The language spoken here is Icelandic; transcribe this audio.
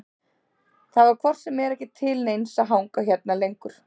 Það var hvort sem er ekki til neins að hanga hérna lengur.